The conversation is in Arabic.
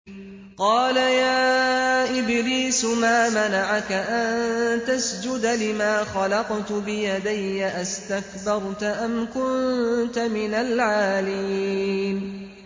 قَالَ يَا إِبْلِيسُ مَا مَنَعَكَ أَن تَسْجُدَ لِمَا خَلَقْتُ بِيَدَيَّ ۖ أَسْتَكْبَرْتَ أَمْ كُنتَ مِنَ الْعَالِينَ